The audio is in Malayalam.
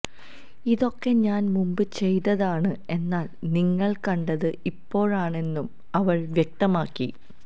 ഇതൊക്കെ ഞാൻ മുമ്പ് ചെയ്തതതാണ് എന്നാൽ നിങ്ങകൾ കണ്ടത് ഇപ്പോഴാണെന്നും അവൾ വ്യക്തമാക്കി